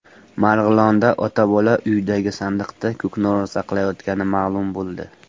Marg‘ilonda ota-bola uydagi sandiqda ko‘knori saqlayotgani ma’lum bo‘ldi.